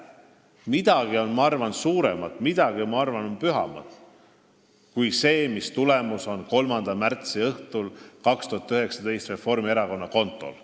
Midagi on, ma arvan, suuremat, midagi on, ma arvan, pühamat kui see, mis tulemus on 3. märtsi õhtul 2019 Reformierakonna kontol.